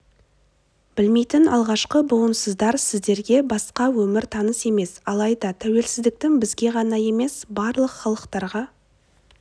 білмейтін алғашқы буынсыздар сіздерге басқа өмір таныс емес алайда тәуелсіздіктің бізге ғана емес барлық халықтарға